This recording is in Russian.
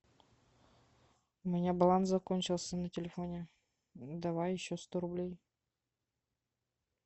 у меня баланс закончился на телефоне давай еще сто рублей